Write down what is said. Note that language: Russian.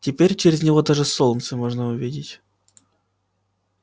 теперь через него даже солнце можно увидеть